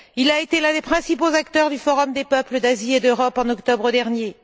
Il a été l'un des principaux acteurs du forum des peuples d'Asie et d'Europe en octobre dernier.